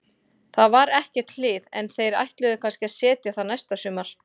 Það var ekkert hlið, en þeir ætluðu kannski að setja það næsta sumar.